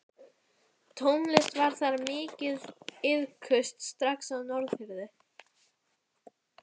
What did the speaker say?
Tónlist var þar mikið iðkuð strax á Norðfirði.